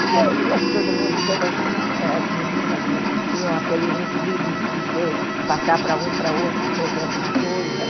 Porque eu via que todo mundo, todas ãh as meninas tinham aqueles livros de dizer, de passar para um, para outro, escrever alguma coisa.